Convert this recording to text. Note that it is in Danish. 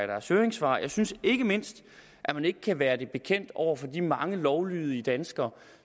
deres høringssvar jeg synes ikke mindst at man ikke kan være det bekendt over for de mange lovlydige danskere